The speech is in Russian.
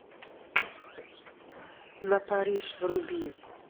на париж вруби